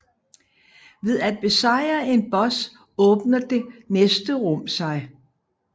Ved at besejre en boss åbner det næste rum sig